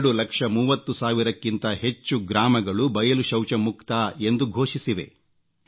2 ಲಕ್ಷ 30 ಸಾವಿರಕ್ಕಿಂತ ಹೆಚ್ಚು ಗ್ರಾಮಗಳು ಬಯಲು ಶೌಚ ಮುಕ್ತ ಎಂದು ಘೋಷಿಸಿವೆ